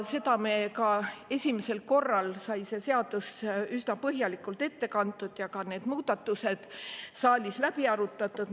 Esimesel lugemisel sai selle seaduse üsna põhjalikult ette kantud ja ka need muudatused saalis läbi arutatud.